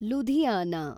Ludhiana